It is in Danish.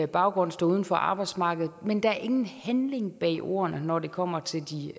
baggrund står uden for arbejdsmarkedet men der er ingen handling bag ordene når det kommer til de